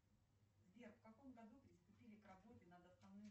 джой комедия с анджелиной джоли